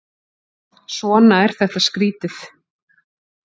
Svona er þetta skrýtið.